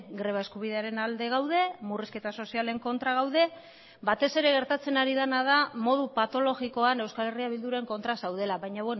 greba eskubidearen alde gaude murrizketa sozialen kontra gaude batez ere gertatzen ari dena da modu patologikoan euskal herria bilduren kontra zaudela baina